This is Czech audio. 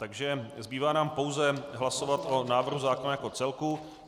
Takže zbývá nám pouze hlasovat o návrhu zákona jako celku.